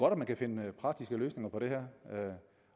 at man kan finde praktiske løsninger på det her